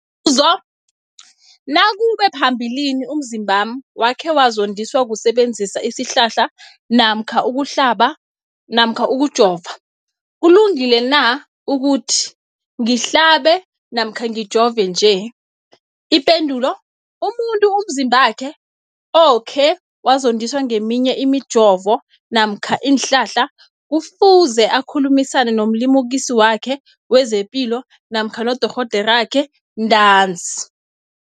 Umbuzo, nakube phambilini umzimbami wakhe wazondiswa kusebenzisa isihlahla namkha ukuhlaba namkha ukujova, kulungile na ukuthi ngihlabe namkha ngijove nje? Ipendulo, umuntu umzimbakhe okhe wazondiswa ngeminye imijovo namkha iinhlahla kufuze akhulumisane nomlimukisi wakhe wezepilo namkha nodorhoderakhe ntanzi.